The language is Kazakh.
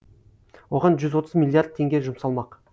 оған жүз отыз миллиард теңге жұмсалмақ